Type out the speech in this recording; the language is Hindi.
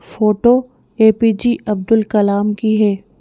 Photo A_ P_ J_ Abdul Kalam की है।